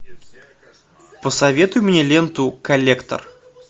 посоветуй мне ленту коллектор